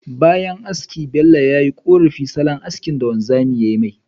Bayan haski Bello, ya yi korafi salon haski da wanzamin yayi.